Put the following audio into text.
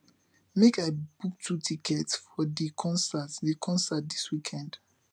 make i book two tickets for di concert di concert dis weekend